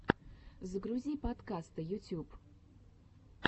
загрузи подкасты ютюб